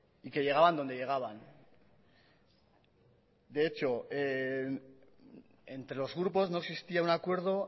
y que llegaban dónde llegaban de hecho entre los grupos no existía un acuerdo